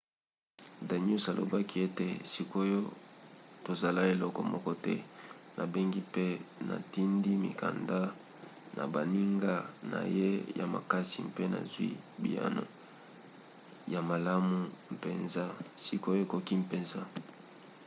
danius alobaki ete sikoyo tozosala eloko moko te. nabengi mpe natindi mikanda na baninga na ye ya makasi mpe nazwi biyano ya malamu mpenza. sikoyo ekoki mpenza